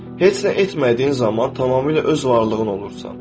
Heç nə etmədiyin zaman tamamilə öz varlığın olursan.